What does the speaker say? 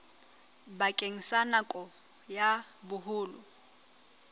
bakeng sa nako ya boholo